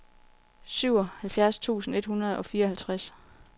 syvoghalvfjerds tusind et hundrede og fireoghalvtreds